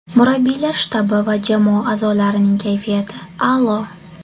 Murabbiylar shtabi va jamoa a’zolarining kayfiyati a’lo.